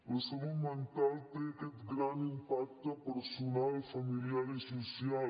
la salut mental té aquest gran impacte personal familiar i social